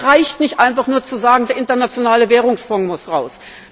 Es reicht nicht, einfach nur zu sagen Der internationale Währungsfonds muss raus.